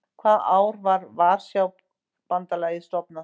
Hvaða ár var Varsjárbandalagið stofnað?